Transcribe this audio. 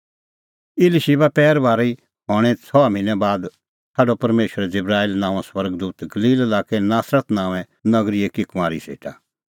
इलीशिबा पैरभारी हणें छ़हा भिन्नैं बाद छ़ाडअ परमेशरै जिबराईल नांओं स्वर्ग दूत गलील लाक्कै नासरत नांओंऐं नगरी एकी कुंआरी सेटा